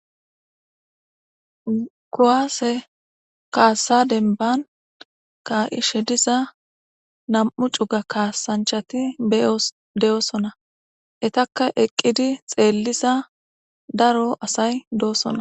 Kuwasse kaassa denban kaa7ishe diza nam7u cuga kaasanchati deyoosona etakka eqqidi xeellisa daro asay do7osona